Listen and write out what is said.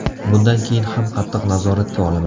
Bundan keyin ham qattiq nazoratga olaman.